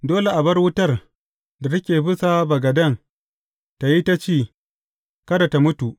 Dole a bar wutar da take bisa bagaden tă yi ta ci; kada tă mutu.